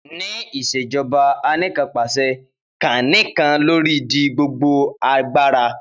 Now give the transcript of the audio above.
Ni ìṣèjọba Anìkanpàṣẹ, kan nikan olori di gbogbo agbara.